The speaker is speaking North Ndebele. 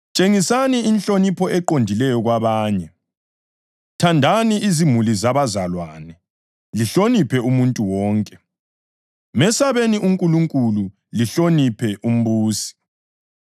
Tshengisani inhlonipho eqondileyo kwabanye. Thandani izimuli zabazalwane, lihloniphe umuntu wonke, mesabeni uNkulunkulu, lihloniphe umbusi.